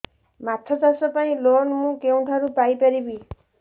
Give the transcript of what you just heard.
ମାଛ ଚାଷ ପାଇଁ ଲୋନ୍ ମୁଁ କେଉଁଠାରୁ ପାଇପାରିବି